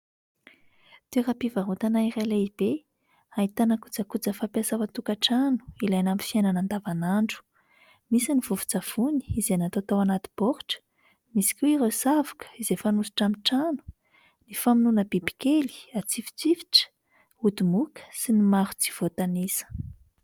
Toeram-pivarotana iray lehibe, ahitana kojakoja fampiasa ao an-tokantrano, ilaina amin'ny fiainana an-davan'andro. Misy ny vovon-tsavony izay natao tao anaty baoritra, misy koa ireo savoka izay fanosotra amin'ny trano, ny famonoana biby kely atsifotsifotra, ody moka, sy ny maro tsy voatanisa.